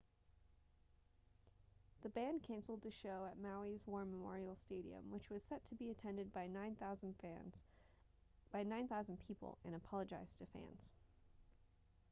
the band canceled the show at maui's war memorial stadium which was set to be attended by 9,000 people and apologized to fans